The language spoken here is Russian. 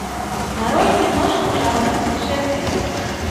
нарой киношку жанр путешествия